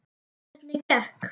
Hvernig gekk?